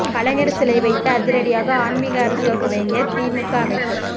கலைஞர் சிலை வைத்து அதிரடியாக ஆன்மீக அரசியல் துவங்கிய திமுக அமைச்சர்